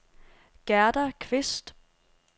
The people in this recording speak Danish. Gerda Qvist